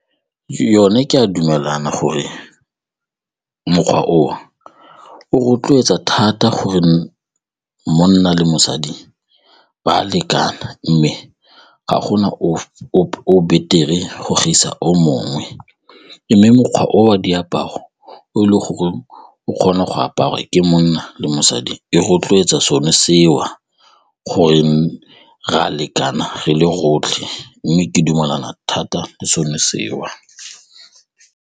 Yone ke a dumelana gore mokgwa oo o rotloetsa thata gore monna le mosadi ba a lekana mme ga gona o betere go gaisa o mongwe mme mokgwa o wa diaparo o e leng gore o kgone go aparwa ke monna le mosadi e rotloetsa sone seo gore re a lekana ge le rotlhe mme ke dumelana thata le sone seo.